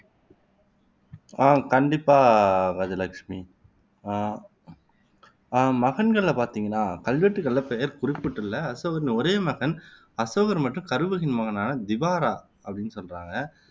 ஆஹ் கண்டிப்பா கஜலட்சுமி அஹ் மகங்களில பாத்தீங்கன்னா கல்வெட்டுகளில பெயர் குறிப்பிடப்பட்டுள்ள அசோகரின் ஒரே மகன் அசோகர் மற்றும் கருவகியின் மகனான திவாரா அப்படின்னு சொல்றாங்க